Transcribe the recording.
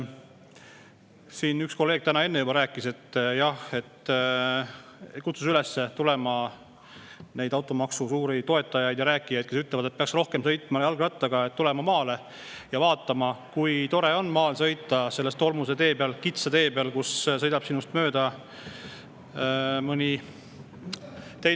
Siin üks kolleeg täna kutsus üles neid automaksu suuri toetajaid, kes ütlevad, et peaks rohkem sõitma jalgrattaga, tulema maale ja vaatama, kui tore on maal sõita kitsa tolmuse tee peal, kui sinust mõni auto mööda sõidab.